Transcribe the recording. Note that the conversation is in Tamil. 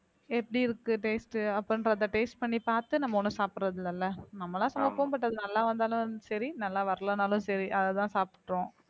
எப்படி இருக்கு taste taste பண்ணி பார்த்து நம்ம ஒண்ணும் சாப்பிடுறது இல்லைல்ல நம்மளா சமைப்போம் but அது நல்லா வந்தாலும் சரி நல்லா வரலைன்னாலும் சரி அதைதான் சாப்பிட்டோம்